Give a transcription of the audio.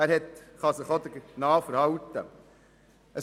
Man kann sich auch entsprechend verhalten.